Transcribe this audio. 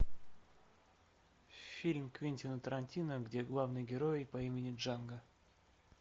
фильм квентина тарантино где главный герой по имени джанго